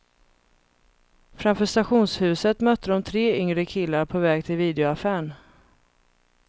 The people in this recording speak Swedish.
Framför stationshuset mötte de tre yngre killar på väg till videoaffären.